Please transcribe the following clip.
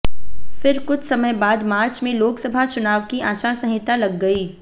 फिर कुछ समय बाद मार्च में लोकसभा चुनाव की आचार संहिता लग गई